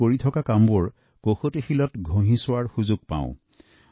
মই মোৰ কাম আৰু ভৱিষ্যৎ পৰিকল্পনাসমূহৰ কৰাৰ সুযোগ পাও